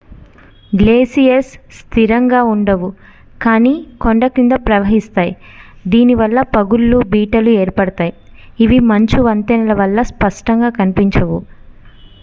glaciers స్థిరంగా ఉండవు కానీ కొండ క్రింద ప్రవహిస్తాయి దీని వల్ల పగుళ్లు బీటలు ఏర్పడతాయి ఇవి మంచు వంతెనల వల్ల స్పష్టంగా కనిపించవు